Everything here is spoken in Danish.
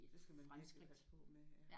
Det skal man virkelig passe på med ja